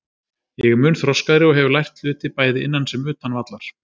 Ég er mun þroskaðri og hef lært hluti bæði innan sem utan vallar.